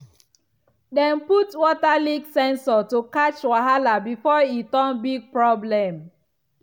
dem put water leak sensor to catch wahala before e turn big problem.